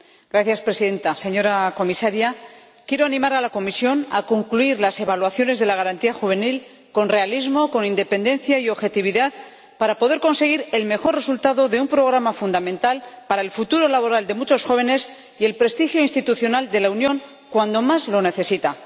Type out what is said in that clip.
Señora Presidenta, señora Comisaria, quiero animar a la Comisión a que concluya las evaluaciones de la Garantía Juvenil con realismo, con independencia y con objetividad para poder conseguir el mejor resultado de un programa fundamental para el futuro laboral de muchos jóvenes y el prestigio institucional de la Unión cuando más lo necesita.